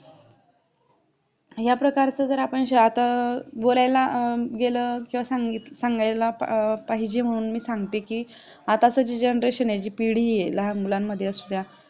या प्रकारचे जर आपण स्वतः बोलायला गेलं तर सांगीतसांगायला पाहिजे म्हणून सांगते की आताची जे generation आहे जे पिढी येईल लहान मुलांमध्ये असू द्या